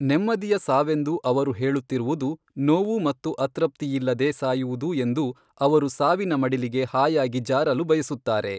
ನೆಮ್ಮದಿಯ ಸಾವೆಂದು ಅವರು ಹೇಳುತ್ತಿರುವುದು ನೋವು ಮತ್ತು ಅತೃಪ್ತಿಯಿಲ್ಲದೆ ಸಾಯುವುದು ಎಂದು ಅವರು ಸಾವಿನ ಮಡಿಲಿಗೆ ಹಾಯಾಗಿ ಜಾರಲು ಬಯಸುತ್ತಾರೆ.